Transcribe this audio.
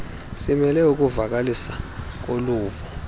simele ukuvakaliswa koluvo